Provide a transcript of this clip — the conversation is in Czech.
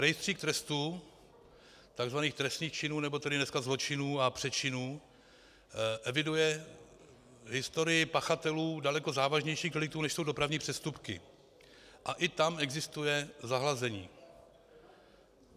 Rejstřík trestů, tzv. trestných činů, nebo tedy dneska zločinů a přečinů, eviduje historii pachatelů daleko závažnějších deliktů, než jsou dopravní přestupky, a i tam existuje zahlazení.